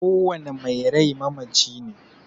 Kowanne mai rai mamaci ne